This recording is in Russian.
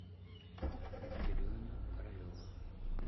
дрюню королева